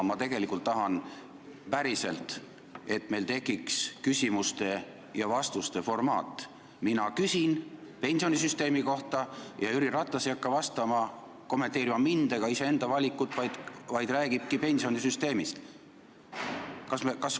Ma tegelikult tõesti tahan, et meil tekiks küsimuste ja vastuste formaat: mina küsin pensionisüsteemi kohta ja Jüri Ratas ei hakka vastates kommenteerima mind ega iseenda valikut, vaid räägibki pensionisüsteemist.